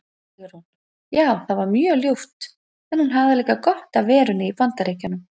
Sigrún: Já það var mjög ljúft en hún hafði líka gott af verunni í BAndaríkjunum.